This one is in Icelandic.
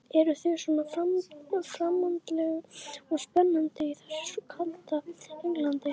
Eruð þið svona framandleg og spennandi í þessu kalda Englandi?